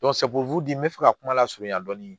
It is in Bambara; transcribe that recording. n bɛ fɛ ka kuma lasurunya dɔɔnin